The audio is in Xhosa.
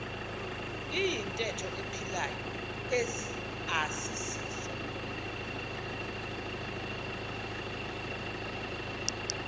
iyintetho ephilayo asisiso